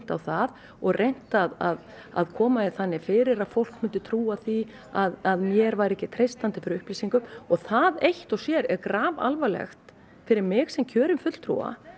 á það og reynt að að koma því þannig fyrir að fólk myndi trúa því að mér væri ekki treystandi fyrir upplýsingum og það eitt og sér er grafalvarlegt fyrir mig sem kjörinn fulltrúa